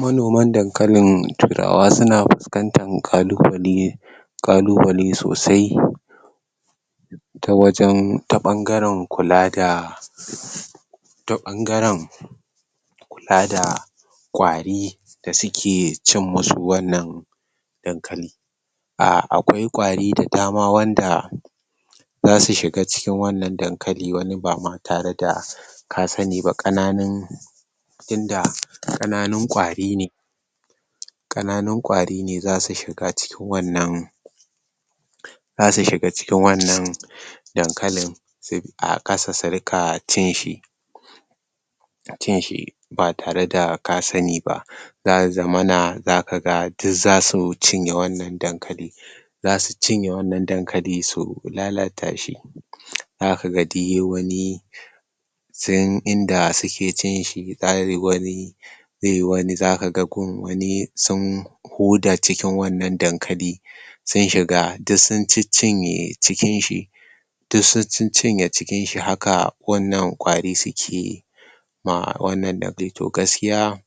Manoman dankalin turawa suna fuskantan kalubalai kalubalai sosai ta wajen ta bangaren kula da ta ta bangaren kula da kwari da suke cin musu wannan dankali ahh.. akwai kwari da dama wanda zasu shiga cikin wannan dankali wani ba ma tare da ka sani ba kananun, tunda kananun kwari ne kananun kwari ne zasu shiga cikin wannan zasu shiga cikin wannan dankalin a kasa su rinka cin shi ba tare da ka sani ba zasu zama na zaka ga duk zasu cinye wammam dankali za su cinye wannan dankali su lalata shi zaka ga duk yayi wani sun Inda suke cin shi zaiyi wani zaiyi wani zaka ga gun wani ko da sun huda cikin wannan dankali sun shiga duk sun ciccinye cikin shi duk sun ciccinye cikin shi haka wannan kwari suke yi ma wannan to dai gaskiya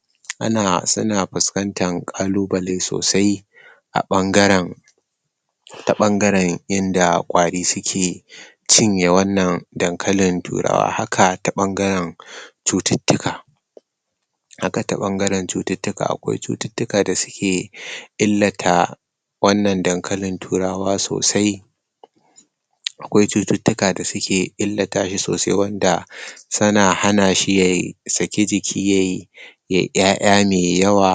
ana suna fuskantan ƙalubalai sosai a ɓangaren ta ɓangaren inda kwari suke cinye wannan dankalin turawa haka ta ɓangaren cututtuka haka ta ɓangaren cututtuka akwai cututtuka da suke illata wannan dankalin turawa sosai akwai cututtuka da suke illata shi sosai wanda suna hana shi ya sake jiki yayi yaya mai yawa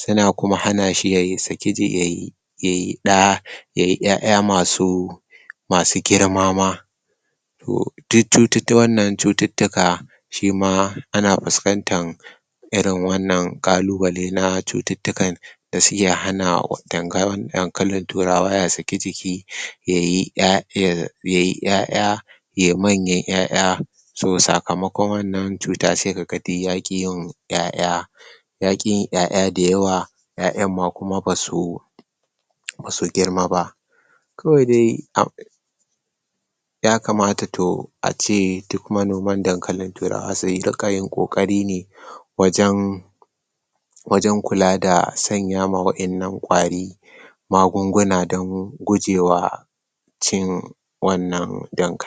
suna kuma hana shi yayi saki jiki yayi yayi ɗa yayi ya'ya masu masu girma ma toh duk wannan cututtuka shima ana fuskantar irin wannan ƙalubalai na cututtukan da suke hana dankalin turawa ya saki jiki yayi ya'yan yayi ya'ya yayi manyan ya'ya toh sakamakon wannan cuta sai kaga duk yaki yawan ya'ya yaki yin ya'ya da yawa yayan ma kuma basu basu girma ba kawai dai yakamata toh ace duk manoman dankalin turawa su rinka yin kokari ne wajen wajen kula da sanya ma wadannan kwari magunguna don gujewa cin wannan dankalin.